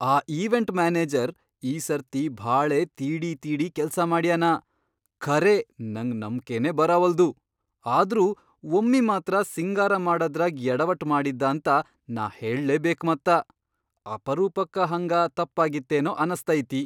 ಆ event manager ಈ ಸರ್ತಿ ಭಾಳೇ ತೀಡಿ ತೀಡಿ ಕೆಲ್ಸಮಾಡ್ಯಾನ, ಖರೇ ನಂಗ್ ನಂಬ್ಕೆನೇ ಬರಾವಲ್ದು. ಆದ್ರೂ ಒಮ್ಮಿ ಮಾತ್ರ ಸಿಂಗಾರ ಮಾಡದ್ರಾಗ್ ಯಡವಟ್ ಮಾಡಿದ್ದಾಂತ ನಾ ಹೇಳ್ಲೇ ಬೇಕ್ ಮತ್ತ. ಅಪರೂಪಕ್ಕ ಹಂಗ ತಪ್ಪಾಗಿತ್ತೇನೋ ಅನಸ್ತೈತಿ.